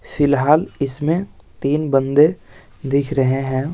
फिलहाल इसमें तीन बंदे दिख रहे हैं।